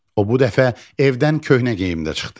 O bu dəfə evdən köhnə geyimlə çıxdı.